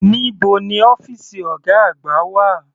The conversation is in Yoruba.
Níbo ni ọ́fìsì ọ̀gá àgbà wà?